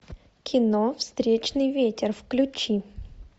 кино встречный ветер включи